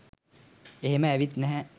එහෙම ඇවිත් නැහැ.